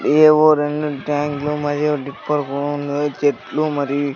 ఏవో రెండు ట్యాంక్లు మరియు డిప్పర్ చెట్లు మరియి--